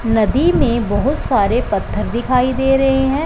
नदी में बहुत सारे पत्थर दिखाई दे रहे हैं।